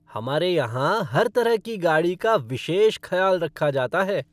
हमारे यहां हर तरह की गाड़ी का विशेष खयाल रखा जाता है।